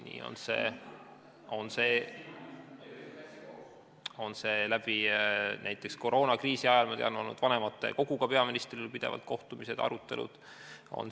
Nii on see näiteks olnud koroonakriisi ajal, ma tean, et vanematekoguga on peaministril olnud pidevalt kohtumised, arutelud.